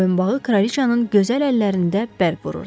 Boyunbağı kraliçanın gözəl əllərində bərq vururdu.